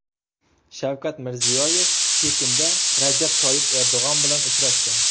Shavkat Mirziyoyev Pekinda Rajab Toyyib Erdo‘g‘on bilan uchrashdi.